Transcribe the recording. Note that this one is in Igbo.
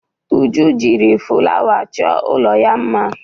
Uju jiri fụlawa chọọ ụlọ ya mma.